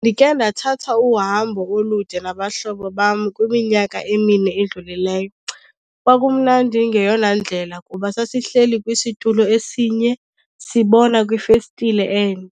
Ndike ndathatha uhambo olude nabahlobo bam kwiminyaka emine edlulileyo. Kwakumnandi ngeyona ndlela kuba sasihleli kwisitulo esinye sibona kwifestile enye.